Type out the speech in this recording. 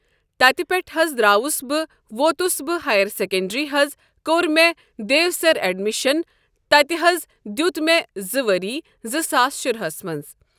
تتہِ پٮ۪ٹھ حظ دراوُس بہٕ ووتُس بہٕ ہایرسیکنٛڈری حظ کوٚر مےٚ دیوسر اٮ۪ڈمِشن تتہِ حظ دیت مےٚ زٕ ؤری زٕ ساس شرہس منٛز۔